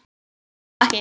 Það var þó ekki.?